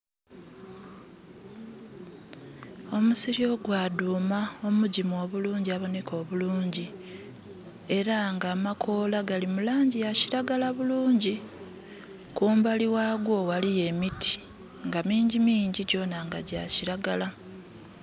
Omusiri ogwadhuma omugimu obulungi aboneka obulungi era nga amakola gali mu langi yakilagala bulungi. Kumbali ghagwo gbaligho emiti nga mingi mingi nga era gyona gya kilagala.